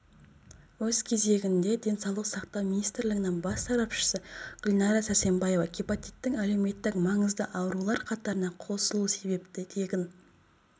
өз кезегінде денсаулық сақтау министрлігінің бас сарапшысы гүлнара сәрсенбаева гепатиттің әлеуметтік-маңызды аурулар қатарына қосылуы себепті тегін